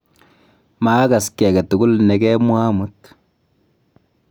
maakas kiy age tugul ne kemwaa amut